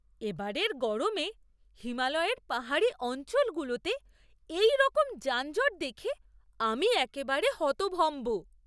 এবারের গরমে হিমালয়ের পাহাড়ি অঞ্চলগুলোতে এইরকম যানজট দেখে আমি একেবারে হতভম্ব!